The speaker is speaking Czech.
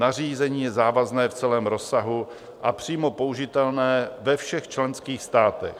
Nařízení je závazné v celém rozsahu a přímo použitelné ve všech členských státech.